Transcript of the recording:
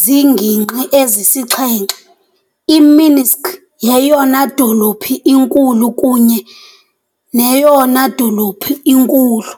ziingingqi ezisixhenxe .I-Minsk yeyona dolophu inkulu kunye neyona dolophu inkulu.